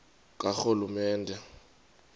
karhulumente